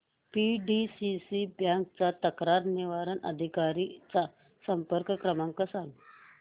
PDCC bank च्या तक्रार निवारण अधिकारी चा संपर्क क्रमांक सांग